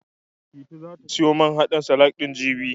Titi zata siyo man haɗin salak ɗin, jibi.